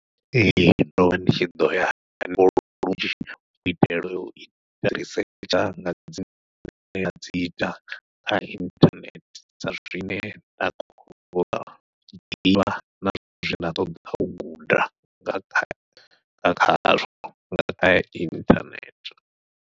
Ee ndovha ndi tshi ḓoya lunzhi u itela u research dzanga dzine ndi nga ita kha inthanethe, sa zwine na zwine nda ṱoḓa u guda nga khazwo nga kha inthanethe.